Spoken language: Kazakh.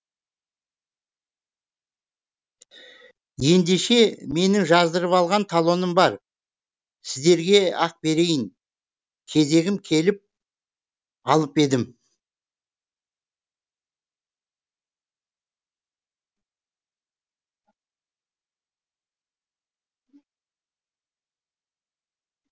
ендеше менің жаздырып алған талоным бар сіздерге ақ берейін кезегім келіп алып едім